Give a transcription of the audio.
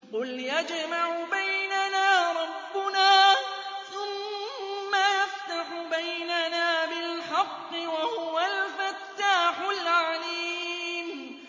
قُلْ يَجْمَعُ بَيْنَنَا رَبُّنَا ثُمَّ يَفْتَحُ بَيْنَنَا بِالْحَقِّ وَهُوَ الْفَتَّاحُ الْعَلِيمُ